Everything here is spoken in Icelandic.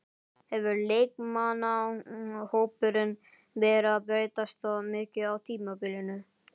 Hefur leikmannahópurinn verið að breytast mikið á tímabilinu?